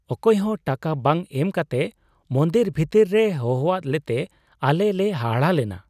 ᱚᱠᱚᱭ ᱦᱚᱸ ᱴᱟᱠᱟ ᱵᱟᱝ ᱮᱢ ᱠᱟᱛᱮ ᱢᱚᱱᱫᱤᱨ ᱵᱷᱤᱛᱟᱹᱨ ᱨᱮ ᱦᱚᱦᱚᱣᱟᱫ ᱞᱮᱛᱮ ᱟᱞᱮ ᱞᱮ ᱦᱟᱦᱟᱲᱟᱜ ᱞᱮᱱᱟ ᱾